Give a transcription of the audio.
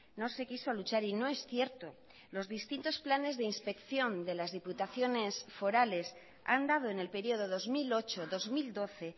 no se quiso luchar y no es cierto los distintos planes de inspección de las diputaciones forales han dado en el periodo dos mil ocho dos mil doce